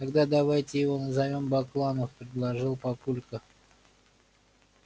тогда давайте его назовём бакланов предложил папулька